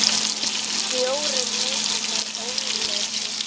Fjórum leikjum er ólokið.